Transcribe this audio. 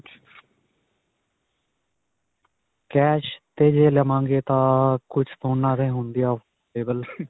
cash 'ਤੇ ਜੇ ਲਵਾਂਗੇ ਤਾਂ ਕੁੱਝ ਫੋਨਾਂ ਦੇ ਹੁੰਦੇ ਆ available.